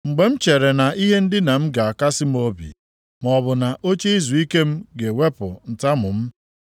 Mgbe m chere na ihe ndina m ga-akasị m obi, maọbụ na oche izuike m ga-ewepụ ntamu m,